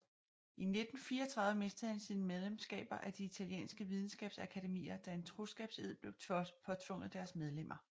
I 1934 mistede han sine medlemskaber af de italienske vidensskabsakademier da en troskabsed blev påtvunget deres medlemmer